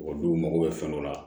O n'u mago bɛ fɛn dɔ la